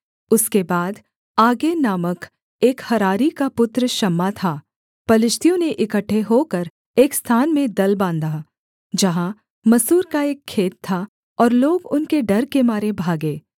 उसके बाद आगै नामक एक हरारी का पुत्र शम्मा था पलिश्तियों ने इकट्ठे होकर एक स्थान में दल बाँधा जहाँ मसूर का एक खेत था और लोग उनके डर के मारे भागे